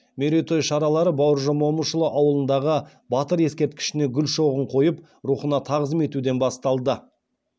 мерейтой шаралары б момышұлы ауылындағы батыр ескерткішіне гүл шоғын қойып рухына тағзым етуден басталды